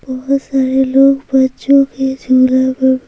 बहुत सारे लोग बच्चों के झूले पर--